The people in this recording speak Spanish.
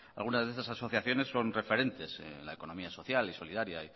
algunas de esas asociaciones son referentes en la economía social y solidaria